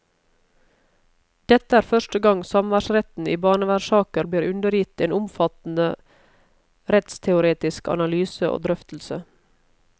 Dette er første gang samværsretten i barnevernssaker blir undergitt en omfattende rettsteoretisk analyse og drøftelse.